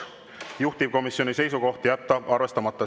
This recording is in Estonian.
Juhtivkomisjoni seisukoht on jätta arvestamata.